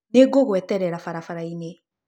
Nĩngũgweterera barabara-inĩ.